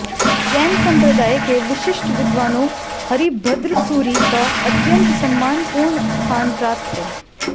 जैन संप्रदाय के विशिष्ट विद्वानों हरिभद्र सूरि का अत्यंत सम्मानपूर्ण स्थान प्राप्त है